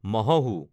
মহোহো